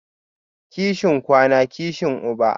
Kishin kwana, kishi uba